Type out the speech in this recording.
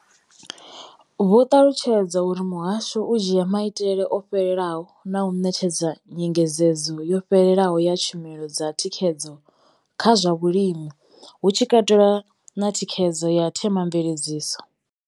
Vho ṱalutshedza uri muhasho u dzhia maitele o fhelelaho na u ṋetshedza nyengedzedzo yo fhelelaho ya tshumelo dza thikhedzo kha zwa vhulimi, hu tshi katelwa na thikhedzo ya themamveledziso.